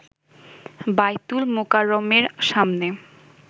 বাইতুল মোকাররমের সামনে